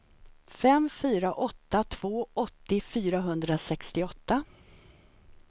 fem fyra åtta två åttio fyrahundrasextioåtta